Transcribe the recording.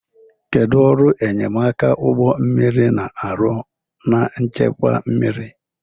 Kedu ọrụ enyemaka ụgbọ mmiri na-arụ na nchekwa mmiri?